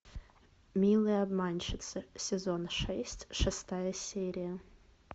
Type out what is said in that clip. милые обманщицы сезон шесть шестая серия